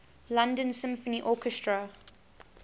london symphony orchestra